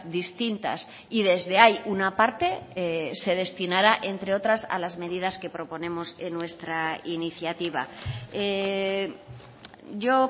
distintas y desde hay una parte se destinará entre otras a las medidas que proponemos en nuestra iniciativa yo